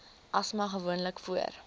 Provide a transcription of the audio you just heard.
asma gewoonlik voor